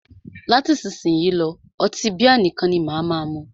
Láti isísìnyí lọ́, ọtí bíà nìkan ni máà mú.